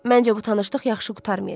Məncə bu tanışlıq yaxşı qurtarmayacaq.